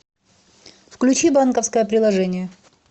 включи банковское приложение